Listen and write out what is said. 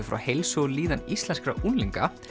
frá heilsu og líðan íslenskra unglinga